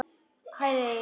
Hægra eyrað.